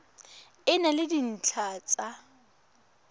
e na le dintlha tsa